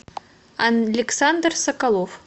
александр соколов